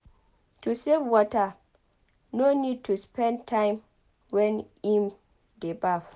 To save water person no need to spend time wen im dey baf